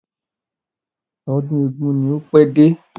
Ọdún eégún ò ní pẹ́ dé.